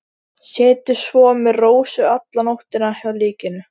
Setið svo með Rósu alla nóttina hjá líkinu.